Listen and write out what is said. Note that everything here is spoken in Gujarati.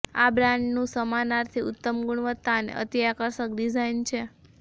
આ બ્રાન્ડનું સમાનાર્થી ઉત્તમ ગુણવત્તા અને અતિ આકર્ષક ડિઝાઇન છે